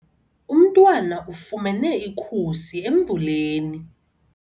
Umntwana ufumene ikhusi emvuleni.